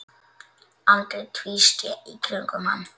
Andri tvísté í kringum hann.